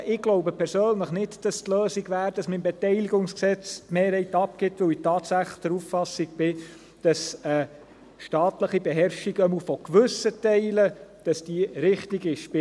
Persönlich glaube ich nicht, dass die Lösung wäre, dass man im BKWG die Mehrheit abgibt, weil ich tatsächlich der Auffassung bin, dass eine staatliche Beherrschung, jedenfalls von gewissen Teilen, bei der BKW, richtig ist.